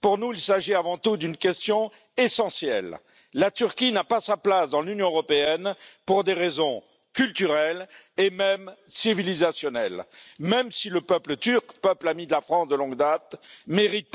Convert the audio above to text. Pour nous, il s'agit avant tout d'une question essentielle la Turquie n'a pas sa place dans l'Union européenne pour des raisons culturelles et même civilisationnelles, même si le peuple turc, peuple ami de la France de longue date, mérite